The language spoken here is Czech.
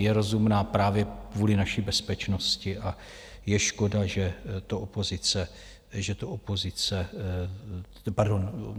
Je rozumná právě kvůli naší bezpečnosti a je škoda, že to SPD jako opoziční strana nevidí.